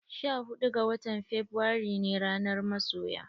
Sha huɗu ga watan febuare ne ranar masoya.